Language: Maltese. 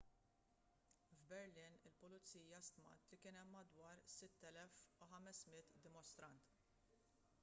f'berlin il-pulizija stmat li kien hemm madwar 6,500 dimostrant